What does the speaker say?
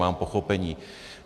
Mám pochopení.